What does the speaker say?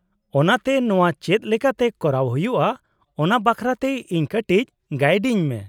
-ᱚᱱᱟᱛᱮ ᱱᱚᱶᱟ ᱪᱮᱫ ᱞᱮᱠᱟᱛᱮ ᱠᱚᱨᱟᱣ ᱦᱩᱭᱩᱜᱼᱟ ᱚᱱᱟ ᱵᱟᱠᱷᱨᱟᱛᱮ ᱤᱧ ᱠᱟᱹᱴᱤᱡ ᱜᱟᱹᱭᱤᱰᱤᱧ ᱢᱮ ᱾